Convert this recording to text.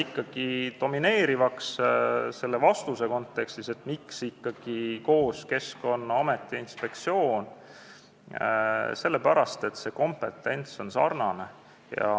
Aga domineerivaks selles kontekstis, miks ikkagi amet ja inspektsioon koos, jäi see, et kompetents on sarnane.